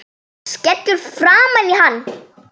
Skellur framan í hann.